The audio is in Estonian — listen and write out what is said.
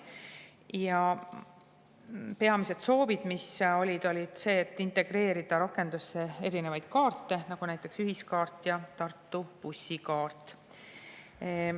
Ja peamine soov oli see, et integreerida rakendusse erinevaid kaarte, näiteks ühiskaarti ja Tartu bussikaarti.